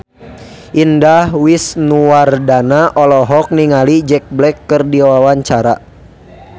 Indah Wisnuwardana olohok ningali Jack Black keur diwawancara